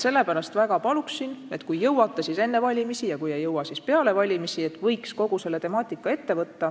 Sellepärast ma väga palun, et kui jõuate, siis enne valimisi, ja kui ei jõua, siis peale valimisi võiks kogu selle temaatika ette võtta.